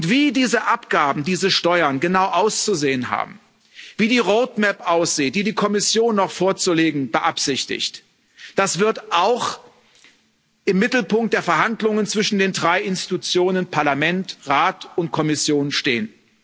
Wie diese Abgaben, diese Steuern genau auszusehen haben, wie die roadmap aussieht, die die Kommission noch vorzulegen beabsichtigt, das wird auch im Mittelpunkt der Verhandlungen zwischen den drei Institutionen Parlament, Rat und Kommission stehen.